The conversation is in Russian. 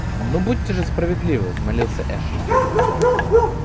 ну будьте же справедливы взмолился эшли